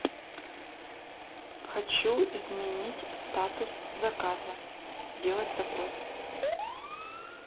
хочу изменить статус заказа сделать запрос